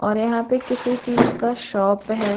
यहाँ पे किसी चीज का शॉप है।